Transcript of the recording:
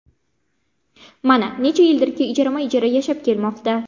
Mana, necha yildirki ijarama-ijara yashab kelmoqda.